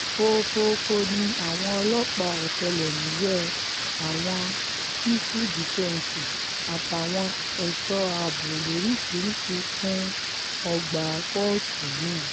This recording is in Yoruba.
fòfòófó ni àwọn ọlọ́pàá ọ̀tẹlẹ̀múyẹ́ àwọn sífù dífẹ́ǹsì àtàwọn ẹ̀ṣọ́ ààbò lóríṣìíríṣìí kún ọgbà kóòtù náà